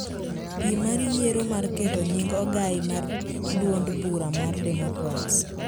Piem mar yiero mar keto nying ogai mar duond bura mar democrats